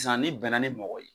san n'i bɛna ni mɔgɔ ye.